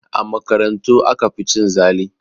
A makarantu aka fi cin zali